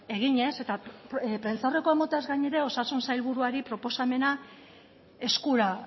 eginez eta prentsaurrekoa emateaz gainera osasun sailburuari proposamena eskura